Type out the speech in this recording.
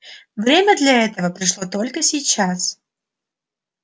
время для этого пришло только сейчас